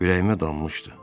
Ürəyimə dammışdı.